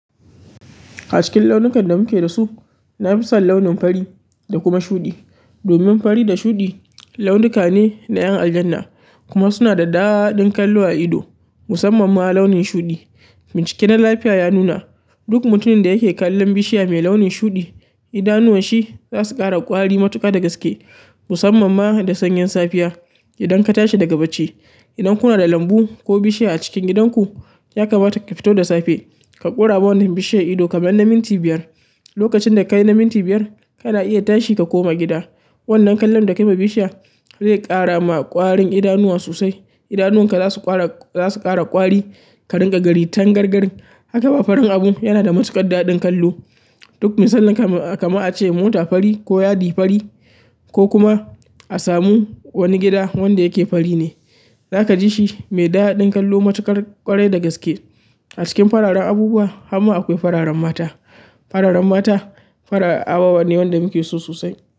A cikin launukan da muke dasu, na fi son launin fari da kuma shuɗi. Domin fari da shuɗi launuka ne na 'yan aljanna kuma suna da daɗaɗɗun kallo a ido musamman ma launin shuɗi. Bincike na lafiya ya nuna, duk mutumin da yake kallon bishiya mai launin shuɗi, idanuwan shi za su ƙara ƙwari matuƙa da gaske musamman ma da sanyin safiya idan ka tashi daga bacci. Idan kuna da lambu ko bishiya a cikin gidan ku, ya kamata ki fito da safe ka ƙora wa wannan bishiyar ido kamar na minti biyar. Lokacin da ka yi na minti biyar, kana iya tashi ka koma gida. Wannan kallon da ka ma bishiya zai ƙara ma ƙwarin idanuwa sosai. Idanuwan ka za su ƙara ƙwari, ka rinƙa gani tangargarin. Haka ma farin abu yana da matukar ƙaddadin kallo. Duk misalin kamar a ce mota fari ko yadi fari ko kuma a samu wani gida wanda yake fari ne, za ka ji shi mai daɗaɗɗin kallo matuƙar ƙwarai da gaske. A cikin fararen abubuwa, harma akwai fararen mata. Fararen mata farar abubuwa ne wanda muke so sosai.